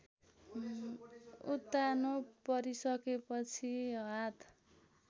उत्तानो परिसकेपछि हात